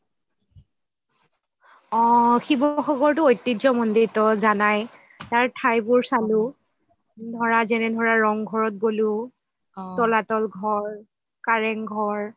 অহ শিৱসাগটো ঐতিহাসিক মন্দিৰটো জানাই তাৰ ঠাইবোৰ চালো যেনে ধৰা ৰংঘৰত গ'লো তলাতল ঘৰ কাৰেং ঘৰ